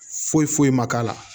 Foyi foyi ma k'a la